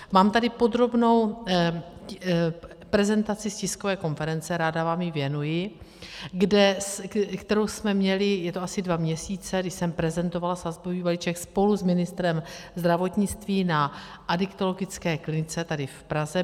Mám tady podrobnou prezentaci z tiskové konference, ráda vám ji věnuji, kterou jsme měli, je to asi dva měsíce, když jsem prezentovala sazbový balíček spolu s ministrem zdravotnictví na adiktologické klinice tady v Praze.